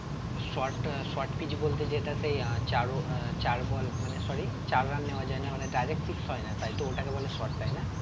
Shot ah shot pitch বলতে যেটা সেই আহ চারো আহ চার ball মানে sorry চার run নেওয়া যায় না মানে direct হয় না তাই তো ওটাকে বলে shot তাই না?